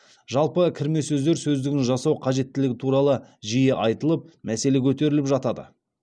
жалпы кірме сөздер сөздігін жасау қажеттілігі туралы жиі айтылып мәселе көтеріліп жатады